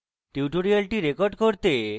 tutorial record করতে